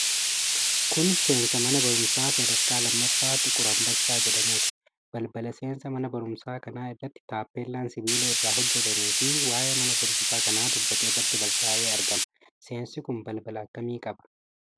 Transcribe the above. Kun seensa mana baruumsaa sadarkaa lammaffaa Xiqur Ambassaa jedhamuuti. Balbala seensaa mana baruumsaa kana irratti taappellaan sibiila irraa hojjatameefi waa'ee mana baruumsaa kanaa dubbatu irratti barraa'ee argama. Seensi kun balbala akkamii qaba?